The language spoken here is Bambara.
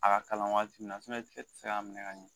A ka kalan waati min na sumaya tɛ se k'a minɛ ka ɲɛ